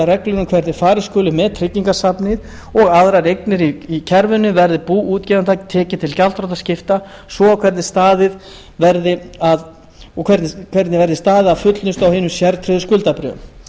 um hvernig farið skuli með tryggingasafnið og aðrar eignir í kerfinu verði bú útgefanda tekið til gjaldþrotaskipta svo og hvernig verði staðið að fullnustu á hinum sértryggðu skuldabréfum